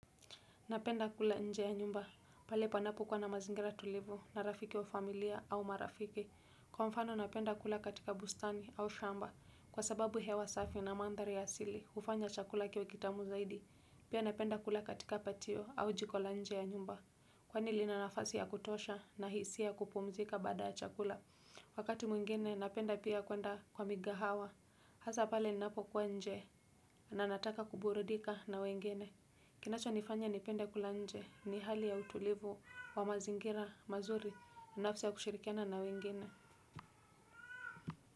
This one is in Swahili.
Napenda kula nje ya nyumba, pale panapo kuwa na mazingira tulivu na rafiki wa familia au marafiki. Kwa mfano napenda kula katika bustani au shamba, kwa sababu hewa safi na mandhari ya asili, hufanya chakula kiwe kitamu zaidi. Piq napenda kula katika patio au jiko la nje ya nyumba. Kwa lina nafasi ya kutosha na hisia ya kupumzika baada ya chakula. Wakati mwingine napenda pia kwenda kwa migahawa. Hasa pale ninapokuwa nje, na nataka kuburudika na wengine. Kinachonifanya nipende kula nje ni hali ya utulivu wa mazingira mazuri na nafsi ya kushirikiana na wengine.